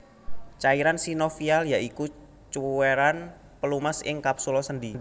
Cairan sinovial ya iku cuwéran pelumas ing kapsula sendhi